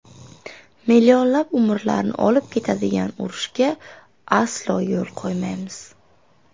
Millionlab umrlarni olib ketadigan urushga aslo yo‘l qo‘ymaymiz.